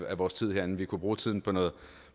af vores tid herinde vi kunne bruge tiden på noget